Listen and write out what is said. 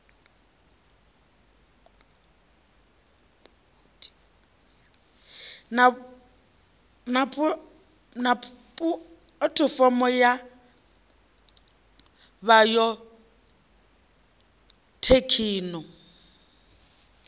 na pu athifomo ya bayothekhino